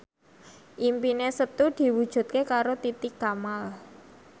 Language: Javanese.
impine Setu diwujudke karo Titi Kamal